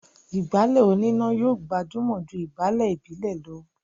ìgbálẹ̀ oníná yóò gbajúmọ̀ jù ìgbálẹ̀ ìbílè lọ